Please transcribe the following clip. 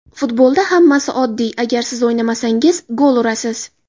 Futbolda hammasi oddiy: agar siz o‘ynasangiz, gol urasiz.